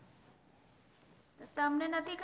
તમને નથી ખ